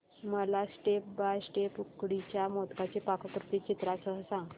मला step by step उकडीच्या मोदकांची पाककृती चित्रांसह सांग